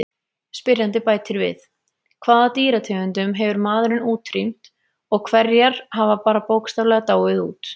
Spyrjandi bætir við: Hvaða dýrategundum hefur maðurinn útrýmt og hverjar hafa bara bókstaflega dáið út?